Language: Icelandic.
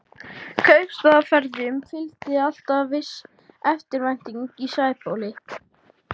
Kaupstaðarferðum fylgdi alltaf viss eftirvænting í Sæbóli.